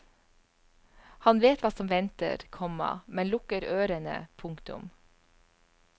Han vet hva som venter, komma men lukker ørene. punktum